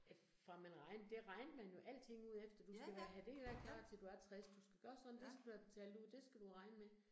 Øh fra man regnede, det regnede man jo alting ud efter, du skal være have det hele klart til du er 60, du skal gøre sådan, det skal du have betalt ud, det skal du regne med